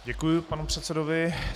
Děkuji panu předsedovi.